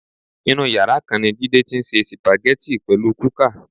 Inú yàrá kan ni Jídé ti ń se sípáàgì pẹ̀lú kúkà.